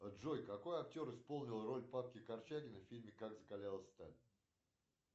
джой какой актер исполнил роль павки корчагина в фильме как закалялась сталь